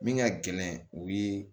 Min ka gɛlɛn o ye